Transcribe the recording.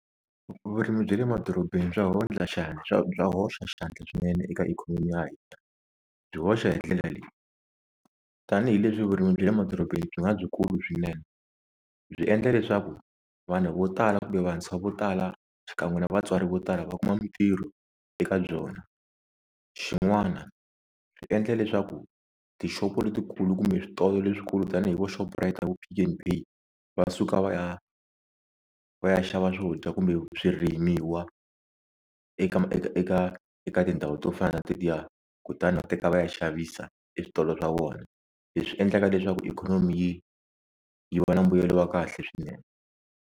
Vurimi bya le madorobeni swa bya bya hoxa xandla swinene eka ikhonomi ya hina, byi hoxa hi ndlela leyi tanihileswi vurimi bya le madorobeni byi nga byi kulu swinene byi endla leswaku vanhu vo tala kumbe vantshwa vo tala xikan'we na vatswari vo tala va kuma mintirho eka byona xin'wana swi endla leswaku tixopo letikulu kumbe switolo leswikulu tanihi vo Shoprite na vo Pick n Pay va suka va ya va ya xava swo dya kumbe swirimiwa eka eka eka eka tindhawu to fana na tetiya kutani va teka va ya xavisa eswitolo swa vona leswi endlaka leswaku ikhonomi yi yi va na mbuyelo wa kahle swinene.